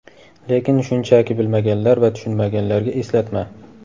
Lekin shunchaki bilmaganlar va tushunmaganlarga eslatma:.